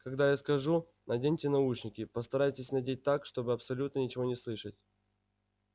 когда я скажу наденьте наушники постарайтесь надеть так чтобы абсолютно ничего не слышать